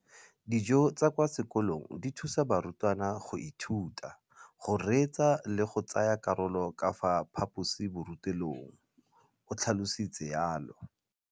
Dijo tsa kwa sekolong dithusa barutwana go ithuta, go reetsa le go tsaya karolo ka fa phaposiborutelong, o tlhalositse jalo.